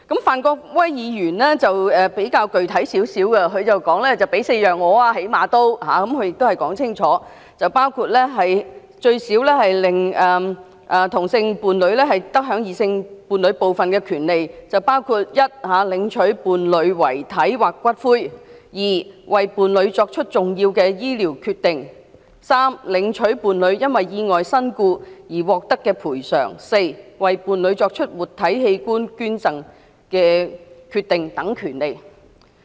范國威議員的修正案比較具體，他提出應最少給予4種權利，令同性伴侶最少得享異性伴侶部分的權利，包括第一，領取伴侶遺體或骨灰；第二，為伴侶作出重要醫療決定；第三，領取伴侶因意外身故而獲得的賠償；及第四，為伴侶作出活體器官捐贈的決定等權利。